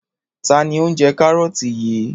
Ta ni ó ń jẹ kárọ́tì yìí?